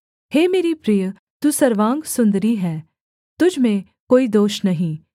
हे मेरी प्रिय तू सर्वांग सुन्दरी है तुझ में कोई दोष नहीं